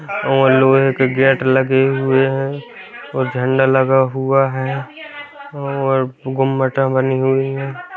और लोहे के गेट लगे हुए है और झंडा लगा हुआ है और गौ माता बनी हुई है।